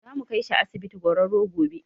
Zamu kaishi asibiti gwararro gobe